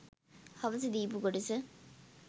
හවස දීපු කොටස